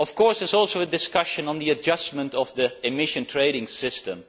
This is also a discussion on the adjustment of the emissions trading system.